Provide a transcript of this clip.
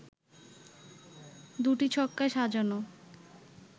২টি ছক্কায় সাজানো